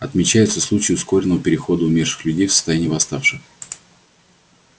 отмечаются случаи ускоренного перехода умерших людей в состояние восставших